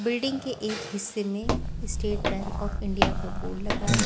Building के एक हिस्से में स्टेट बैंक ऑफ इंडिया का बोर्ड लगा है।